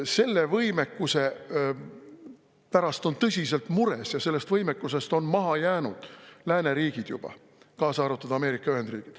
Selle võimekuse pärast on tõsiselt mures ja sellest võimekusest on juba maha jäänud lääneriigid, kaasa arvatud Ameerika Ühendriigid.